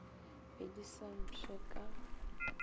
be di sa pšhe ka